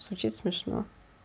звучит смешно